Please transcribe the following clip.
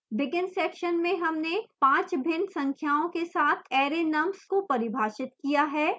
begin section में हमने 5 भिन्न संख्याओं के साथ array nums को परिभाषित किया है